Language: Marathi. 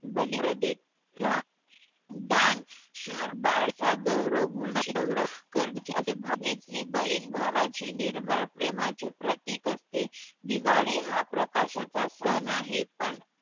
बलिप्रधेला दानशूर चा गौरव भाऊबीज ही बहिण भावाचे निर्मळ प्रेमाचे प्रतीक असते दिवाळी हा प्रकाशाचा सण आहे पण